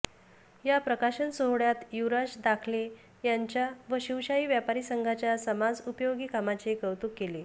या प्रकाशन सोहळ्यात युवराज दाखले यांच्या व शिवशाही व्यापारीसंघाच्या समाज उपयोगी कामाचे कौतुक केले